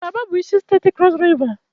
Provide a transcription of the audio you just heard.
Kalaba bụ isi steeti Krọs Riva